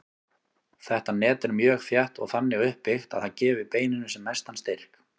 Þetta net er mjög þétt og þannig uppbyggt að það gefi beininu sem mestan styrk.